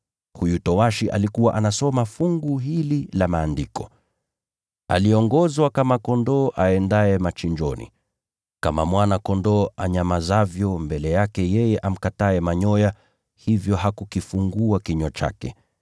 Huyu towashi alikuwa anasoma fungu hili la Maandiko: “Aliongozwa kama kondoo aendaye machinjoni, kama mwana-kondoo anyamazavyo mbele yake yule amkataye manyoya, hivyo hakufungua kinywa chake.